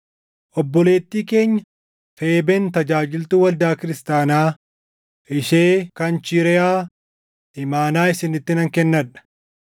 Obboleettii keenya Feebeen tajaajiltuu waldaa kiristaanaa ishee Kanchireʼaa imaanaa isinitti nan kennadha.